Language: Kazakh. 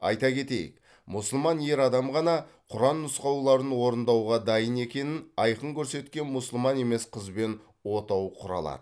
айта кетейік мұсылман ер адам ғана құран нұсқауларын орындауға дайын екенін айқын көрсеткен мұсылман емес қызбен отау құра алады